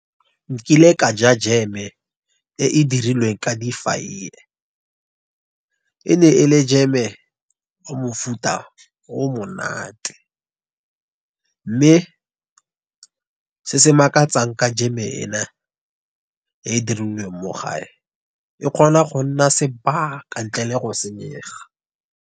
Nkile ka ja jeme e e dirilweng ka difaiye, e ne e le jeme o mo mofuta o monate. Mme se se makatsang ka jeme ena e e dirilweng mo gae. E kgona go nna sebaka, ntle le go senyega.